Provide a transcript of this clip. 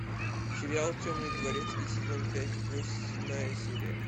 сериал темный дворецкий сезон пять восьмая серия